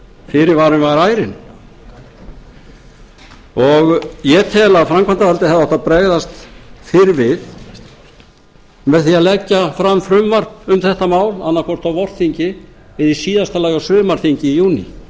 fyrirvarinn var ærinn ég tel að framkvæmdavaldið hefði átt að bregðast fyrr við með því að leggja fram frumvarp um þetta mál annaðhvort á vorþingi eða í síðasta lagi á sumarþingi í júní